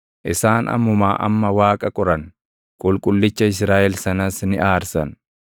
Isaan ammumaa amma Waaqa qoran; Qulqullicha Israaʼel sanas ni aarsan.